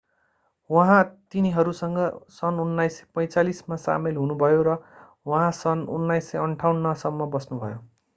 उहाँ तिनीहरूसँग सन् 1945 मा सामेल हुनुभयो र उहाँ सन् 1958 सम्म बस्नुभयो